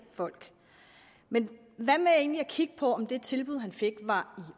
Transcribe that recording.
folk men hvad med egentlig at kigge på om det tilbud han fik var